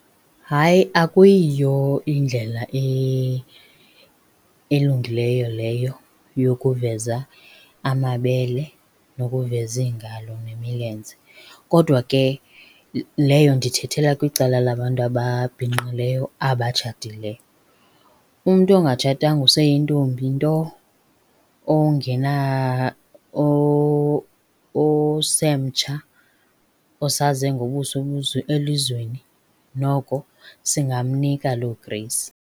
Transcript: Hayi, akuyiyo indlela elungileyo leyo yokuveza amabele nokuveza iingalo nemilenze. Kodwa ke leyo ndiyithethela kwicala labantu ababhinqileyo abatshatileyo. Umntu ongatshatanga oseyintombi nto osemtsha, osaze ngobuso elizweni noko singamnika loo grace.